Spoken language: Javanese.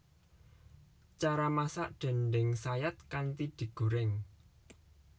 Cara masak déndéng sayat kanthi digoreng